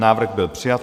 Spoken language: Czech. Návrh byl přijat.